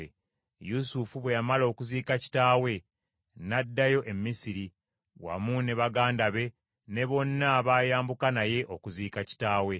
Yusufu bwe yamala okuziika kitaawe n’addayo e Misiri wamu ne baganda be ne bonna abaayambuka naye okuziika kitaawe.